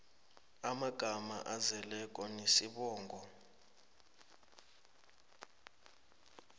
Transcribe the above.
amagama azeleko nesibongo